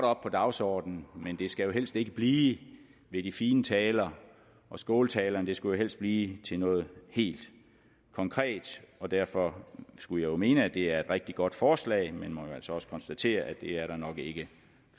op på dagsordenen men det skal jo helst ikke blive ved de fine taler og skåltalerne det skulle helst blive til noget helt konkret og derfor skulle jeg mene at det er et rigtig godt forslag men må jo altså også konstatere at det er der nok ikke